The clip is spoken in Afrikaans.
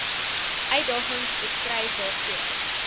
uitdagings beskryf waarvoor